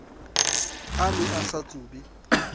a ne a sa tsube